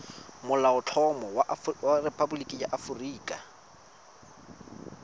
molaotlhomo wa rephaboliki ya aforika